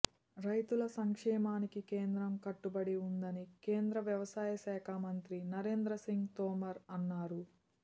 రైతుల సంక్షేమానికి కేంద్రం కట్టుబడి ఉందని కేం ద్ర వ్యవసాయ శాఖ మంత్రి నరేంద్రసింగ్ తోమర్ అన్నారు